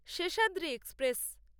Seshadri express